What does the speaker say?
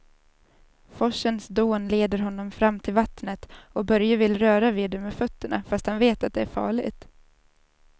Forsens dån leder honom fram till vattnet och Börje vill röra vid det med fötterna, fast han vet att det är farligt.